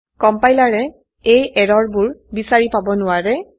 Compilerয়ে এই এৰৰ বোৰ বিছাৰি পাব নোৱাৰে